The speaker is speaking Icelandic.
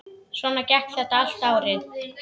Svona gekk þetta allt árið.